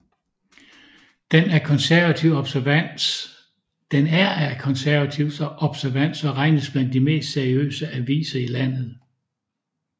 Den er af konservativ observans og regnes blandt de mest seriøse aviser i landet